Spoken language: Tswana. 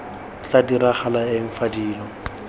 tla diragala eng fa dilo